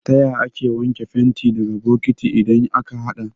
Taya ake wanke fenti daga bokati idan aka haɗa?